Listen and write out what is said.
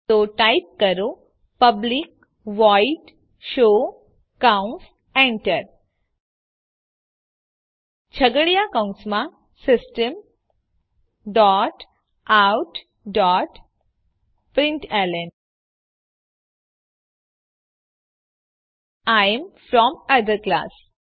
તો ટાઈપ કરો public void show કૌંસ Enter છગડીયા કૌંસમાં system dot out dot println I am from other class